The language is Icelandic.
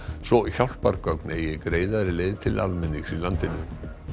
svo hjálpargögn eigi greiðari leið til almennings í landinu